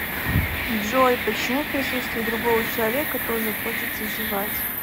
джой почему в присутствии другого человека тоже хочется зевать